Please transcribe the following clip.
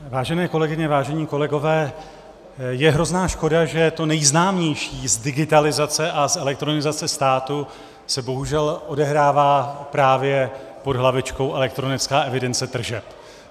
Vážené kolegyně, vážení kolegové, je hrozná škoda, že to nejznámější z digitalizace a z elektronizace státu se bohužel odehrává právě pod hlavičkou elektronická evidence tržeb.